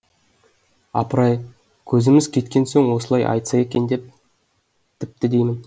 апыр ай көзіміз кеткен соң осылай айтса екен тіпті деймін